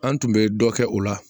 An tun bɛ dɔ kɛ o la